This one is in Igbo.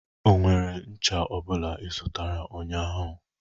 Ọ nwere ncha ọbụla ị zụtara ụnyaahụ?